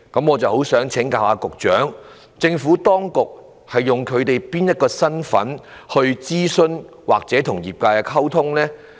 我想請教局長，政府當局以該公司哪個身份諮詢該公司或與其溝通呢？